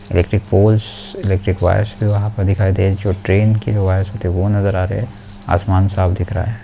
Electric poles electric wires दिखाई दे रहे है जो ट्रेन के वियर्स होती है वो नजर आ रही है आसमान साफ दिखाई दे रहा है।